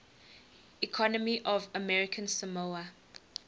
economy of american samoa